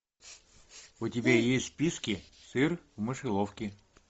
у тебя есть в списке сыр в мышеловке